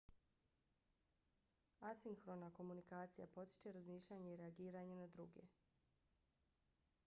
asinhrona komunikacija potiče razmišljanje i reagiranje na druge